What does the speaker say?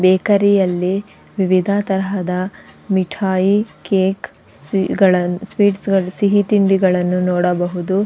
ಬೇಕರಿಯಲ್ಲಿ ವಿವಿಧ ತರಹದ ಮಿಠಾಯಿ ಕೇಕ್ ಸ್ವೀಟ್ಸ್ ಗಳು ಸಿಹಿ ತಿಂಡಿಗಳನ್ನು ನೋಡಬಹುದು.